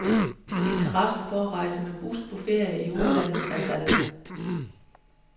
Interessen for at rejse med bus på ferie i udlandet er faldende.